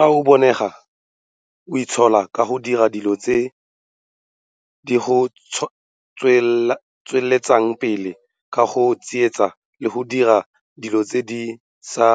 Fa o bonega o itshola ka go dira dilo tse di go tsweletsang pele ka go tsietsa le go dira dilo tse di sa